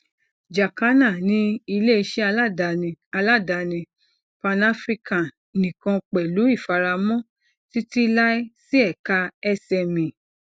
jacana ni ileiṣẹ aladani aladani panafrican nikan pẹlu ifaramọ titilai si eka sme